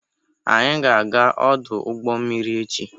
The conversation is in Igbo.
Anyị ga-aga ọdụ ụgbọ mmiri echi.